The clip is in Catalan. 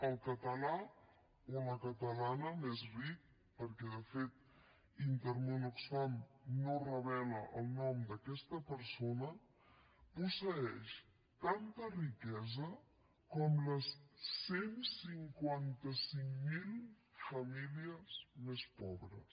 el català o la catalana més ric perquè de fet intermón oxfam no revela el nom d’aquesta persona posseeix tanta riquesa com les cent i cinquanta cinc mil famílies més pobres